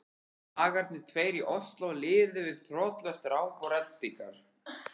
Dagarnir tveir í Osló liðu við þrotlaust ráp og reddingar.